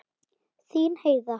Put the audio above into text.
Þín Heiða.